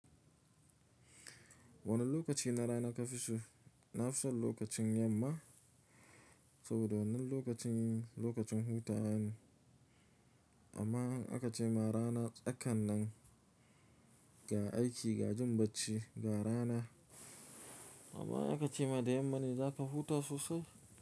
Wane lokaci na rana ka fi so? Na fi son lokacin yamma, saboda wannan lokacin lokacin hutawa ne. Amma in aka ce ma rana tsakan nan ga aiki, ga jin bacci, ga rana, amma in aka ce ma da yamma ne za ka huta sosai.